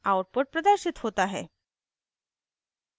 output प्रदर्शित होता है